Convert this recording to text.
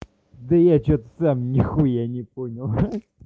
да я что-то сам нихуя не понял